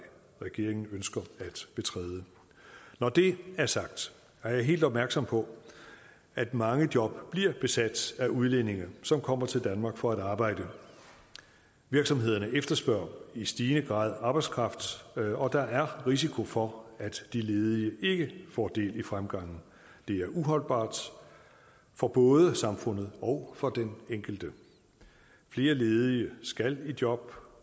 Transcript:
regeringen ønsker at betræde når det er sagt er jeg helt opmærksom på at mange job bliver besat af udlændinge som kommer til danmark for at arbejde virksomhederne efterspørger i stigende grad arbejdskraft og der er risiko for at de ledige ikke får del i fremgangen det er uholdbart for både samfundet og for den enkelte flere ledige skal i job